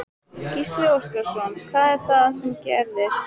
Gísli Óskarsson: Hvað er það sem gerðist?